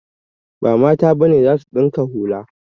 Ba Mata ba ne za su ɗinka hula.